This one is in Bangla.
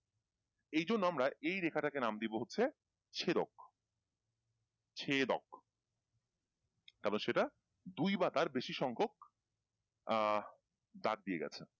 এই জন্য আমরা এই রেখাটাকে নাম দিব হচ্ছে ছেদক ছেদক তারপর সেইটা দুই বা তার বেশি সংখ্যক আহ দাগ দিয়ে গেছে।